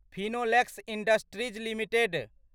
Finolex industries limited